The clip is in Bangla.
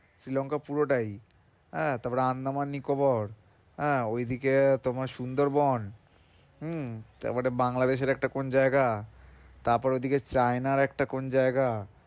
শ্রীলংকা পুরোটাই, হ্যাঁ তারপর আন্দামান নিকোবর, হ্যাঁ। ওইদিকে তোমার সুন্দরবন। হুম, তারপর একটা বাংলাদেশের একটা কোন জায়গা, তারপর ওইদিকে চায়নার একটা কোন জায়গা।